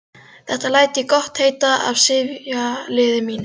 Þetta læt ég gott heita af sifjaliði mínu.